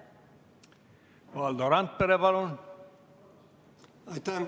Valdo Randpere, palun!